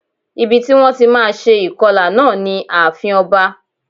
Ibi ti wón ti má a se ìkọlà náà ni ààfin oba